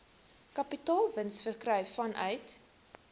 kapitaalwins verkry vanuit